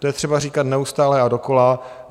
To je třeba říkat neustále a dokola.